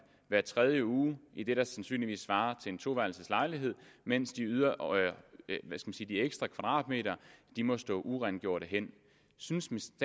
hver tredje uge i det der sandsynligvis svarer til en toværelseslejlighed mens de ekstra kvadratmeter må stå urengjorte hen synes